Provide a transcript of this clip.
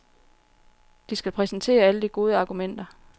De skal præsentere alle de gode argumenter.